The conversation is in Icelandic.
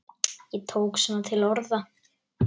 Ég tók svona til orða.